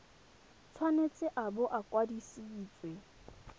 tshwanetse a bo a kwadisitswe